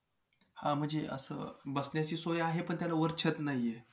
अ सहा डिसेंबर एकोणीशे छप्पन साली बाबासाहेब बाबासाहेब आम्हाला आपल्याला कायमचे सोडून गेले.